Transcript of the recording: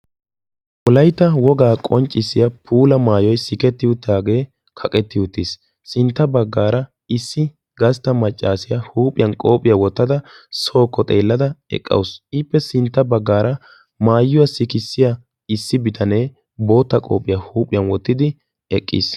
wolayta wogaa qonccissiya puula maayoy siketti uttaagee kaqetti uttiis sintta baggaara issi gastta maccaasiyaa huuphiyan qoophiyaa wottada sookko xeellada eqqausu iippe sintta baggaara maayuwaa sikissiya issi bitanee bootta qoophiyaa huuphiyan wottidi eqqiis